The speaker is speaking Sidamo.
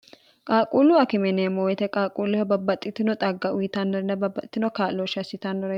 qaaquullu akimineemmo uyite qaaquulloha babbaxxitino xagga uyitannorinna babbaxitino kaa'looshshi assitannore